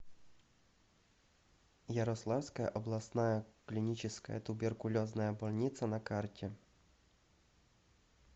ярославская областная клиническая туберкулезная больница на карте